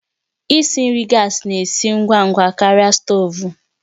Isi nri gas na-esi ngwa ngwa karịa stovu